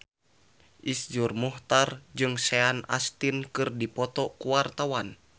Iszur Muchtar jeung Sean Astin keur dipoto ku wartawan